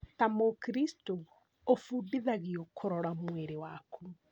Ta mũkristo ũbundithagio kũrora mwĩrĩ waku